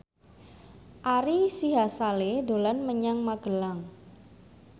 Ari Sihasale dolan menyang Magelang